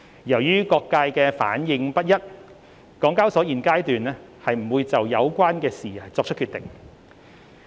由於各界的反應不一，港交所現階段不會就有關事宜作出決定。